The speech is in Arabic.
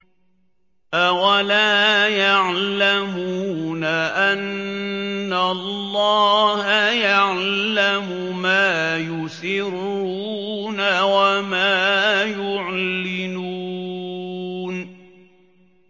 أَوَلَا يَعْلَمُونَ أَنَّ اللَّهَ يَعْلَمُ مَا يُسِرُّونَ وَمَا يُعْلِنُونَ